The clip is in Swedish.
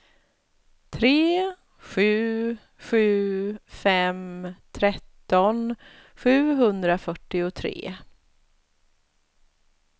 tre sju sju fem tretton sjuhundrafyrtiotre